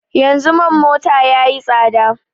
Yanzu man mota ya yi tsada